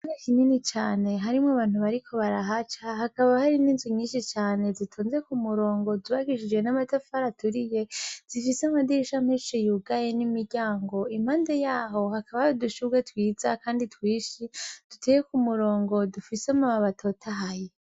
Ikibuga kinini cane harimwo abantu bariko barahaca, hakaba hari n'inzu nyinshi zitonze k'umurongo zubakishijwe n'amatafari aturiye, zifise amadirisha menshi yugaye n'imiryango, impande yaho hakaba hari udushurwe twiza kandi twinshi duteye k'umurongo dufise amababi atotahaye.